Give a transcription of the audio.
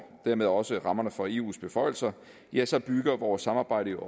dermed også rammerne for eus beføjelser ja så bygger vores samarbejde